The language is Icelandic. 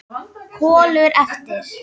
Kolur eltir.